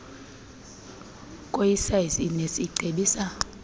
koosiyazi inesi icebisa